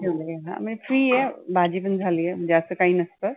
free आहे. भाजी पण झाली आहे जास्त काही नसतं.